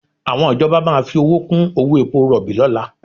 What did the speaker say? Àwọn ìjọba máa fi owó kú owó epo rọ̀bì lọ́la